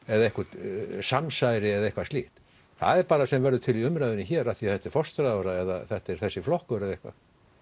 eða einhvert samsæri eða eitthvað slíkt það er bara það sem verður til í umræðunni hér af því að þetta er forsætisráðherra eða þetta er þessi flokkur eða eitthvað